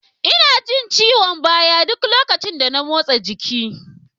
Ina jin ciwon baya ɗuk lokacin motsa jiki.